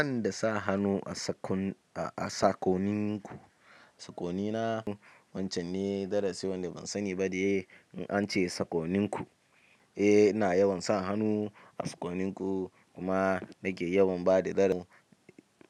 In da sa hannu a saƙon nunku saƙon nina wancen ne darasi wanda ban sani ba de. An ce sakoninku. Eh ina yawan sa hannu a sakoninku kuma nake yawan bada tsaron.